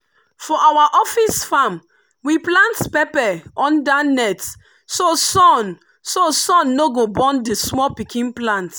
for our office farm we plant pepper under net so sun so sun no go burn the small pikin plant.